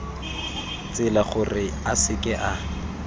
tsela gore a seke a